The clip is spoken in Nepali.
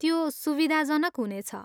त्यो सुविधाजनक हुनेछ।